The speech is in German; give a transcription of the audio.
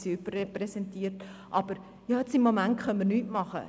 Sie sind überrepräsentiert, aber im Moment können wir nichts tun.